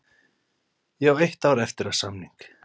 Ég á eitt ár eftir af samning.